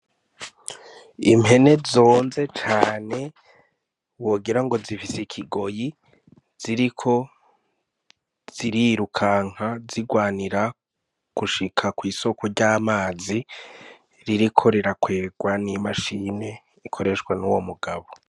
Impene zonze cane wogira ngo zifise ikigoyi. Ziriko zirirukanka zigwanira gushika kw'isoko ry'amazi ririko rirakwegwa n'imashini ikoreshwa n'uwo mugabo.